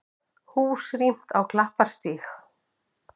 Hús rýmt á Klapparstíg